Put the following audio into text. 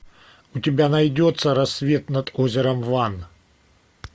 у тебя найдется рассвет над озером ван